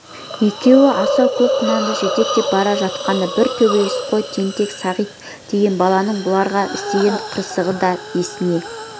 екеуі асау көк құнанды жетектеп бара жатқанда бір төбелесқой тентек сағит деген баланың бұларға істеген қырсығын да есіне